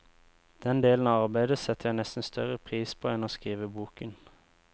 Den delen av arbeidet setter jeg nesten større pris på enn å skrive boken.